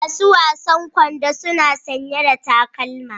Masu wasan kwando suna sanye da takalma.